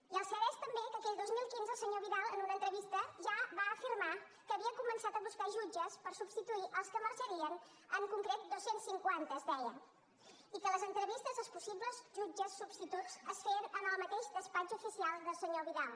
i el cert és també que aquell dos mil quinze el senyor vidal en una entrevista ja va afirmar que havia començat a buscar jutges per substituir els que marxarien en concret dos cents cinquanta es deia i que les entrevistes als possibles jutges substituts es feien en el mateix despatx oficial del senyor vidal